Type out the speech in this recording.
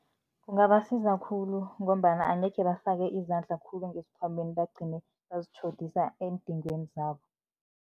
Kungabasiza khulu ngombana angekhe bafake izandla khulu ngesikhwameni, bagcine bazitjhodisa eendingweni zabo.